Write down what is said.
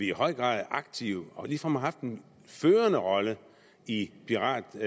i høj grad aktive og har ligefrem haft en førende rolle i piratjagten